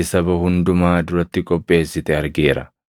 saba hundumaa duratti qopheessite argeera;